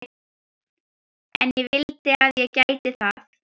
En ég vildi að ég gæti það.